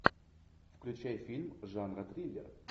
включай фильм жанра триллер